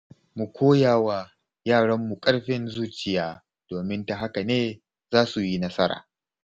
Mu koya wa yaranmu ƙarfin zuciya, domin ta haka ne za su yi nasara.